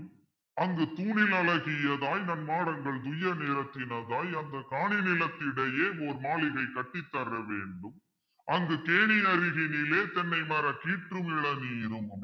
அங்கு தூணில் அழகியதாய் நன் மாடங்கள் துய்ய நிறத்தினதாய் அந்தக் காணி நிலத்தினிடையே ஓர்மாளிகை கட்டித் தரவேண்டும் அங்கு கேணியருகினிலே தென்னைமரம் கீற்று மிளநீரும்.